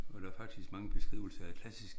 Og der er faktisk mange